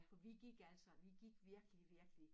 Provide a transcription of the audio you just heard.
For vi gik altså vi gik virkelig virkelig